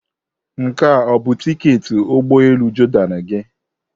Nke a ọ bụ tiketi ụgbọ elu Jordan gị?